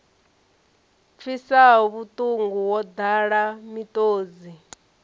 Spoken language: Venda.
pfisaho vhuṱungu wo ḓala miṱodzi